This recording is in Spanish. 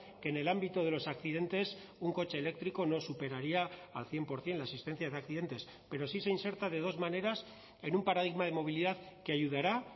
que en el ámbito de los accidentes un coche eléctrico no superaría al cien por ciento la asistencia de accidentes pero sí se inserta de dos maneras en un paradigma de movilidad que ayudará